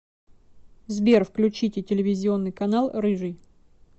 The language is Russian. сбер включите телевизионный канал рыжий